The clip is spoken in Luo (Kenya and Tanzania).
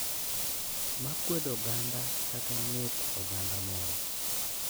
Ma kwedo oganda kata ng’et oganda moro.